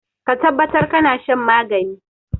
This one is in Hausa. Ka tabbatar kana shan magani.